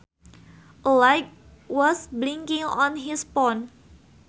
A light was blinking on his phone